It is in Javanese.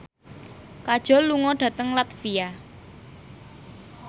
Kajol lunga dhateng latvia